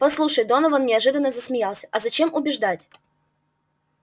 послушай донован неожиданно засмеялся а зачем убеждать